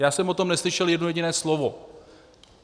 Já jsem o tom neslyšel jedno jediné slovo.